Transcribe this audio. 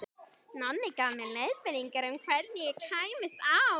Nonni gaf mér leiðbeiningar um hvernig ég kæmist á